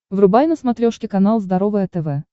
врубай на смотрешке канал здоровое тв